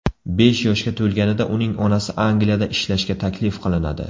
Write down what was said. Besh yoshga to‘lganida uning onasi Angliyada ishlashga taklif qilinadi.